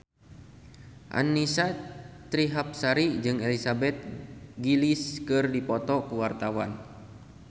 Annisa Trihapsari jeung Elizabeth Gillies keur dipoto ku wartawan